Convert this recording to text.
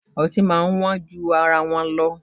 Ọtí máa ń wọ́n ju ara wọn lọ